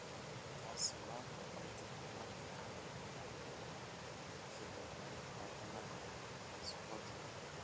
... Taasi waa ka dib markii aan xitaa ka fikirno wadnaha isboortiga."